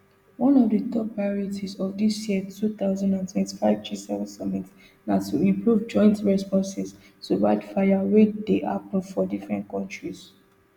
one of di top priorities of dis year two thousand and twenty-five gseven summit na to improve joint responses to wildfires wey dey happun for different kontries